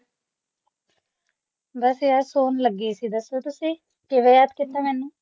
ਬਸ phone ਲਾਉਣ ਲੱਗੀ ਸੀ ਦੱਸੋ ਤੁਸੀਂ ਕਿਵੇਂ ਯਾਦ ਕੀਤਾ ਮੈਨੂੰ